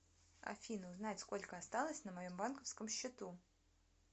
афина узнать сколько осталось на моем банковском счету